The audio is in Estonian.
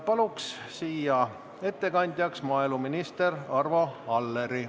Palun siia ettekandjaks maaeluminister Arvo Alleri.